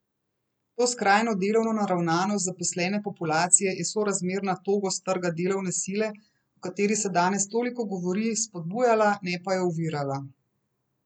To skrajno delovno naravnanost zaposlene populacije je sorazmerna togost trga delovne sile, o kateri se danes toliko govori, spodbujala, ne pa jo ovirala.